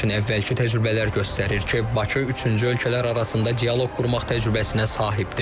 Lakin əvvəlki təcrübələr göstərir ki, Bakı üçüncü ölkələr arasında dialoq qurmaq təcrübəsinə sahibdir.